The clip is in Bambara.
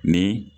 Ni